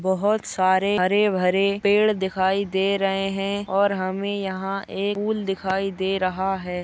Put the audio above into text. बहुत सारे हरे भरे पेड दिखाई दे रहे है और हमे यहा एक पूल दिखाई दे रहा है।